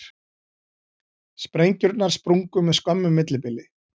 Sprengjurnar sprungu með skömmu millibili